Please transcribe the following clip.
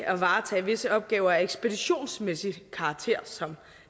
at varetage visse opgaver af ekspeditionsmæssig karakter som